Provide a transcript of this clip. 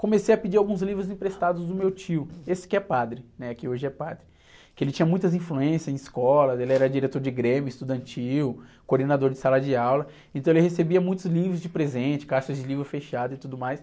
Comecei a pedir alguns livros emprestados do meu tio, esse que é padre, né? Que hoje é padre. Porque ele tinha muitas influências em escolas, ele era diretor de grêmio estudantil, coordenador de sala de aula, então ele recebia muitos livros de presente, caixas de livros fechadas e tudo mais.